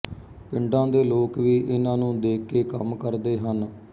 ਪਿੰਡਾਂ ਦੇ ਲੋਕ ਵੀ ਇਹਨਾਂ ਨੂੰ ਦੇਖ ਕੇ ਕੰਮ ਕਰਦੇ ਹਨ